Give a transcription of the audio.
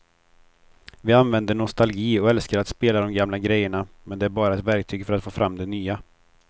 Vi använder nostalgi och älskar att spela de gamla grejerna men det är bara ett verktyg för att få fram det nya.